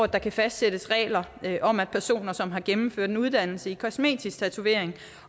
der kan fastsættes regler om at personer som har gennemført en uddannelse i kosmetisk tatovering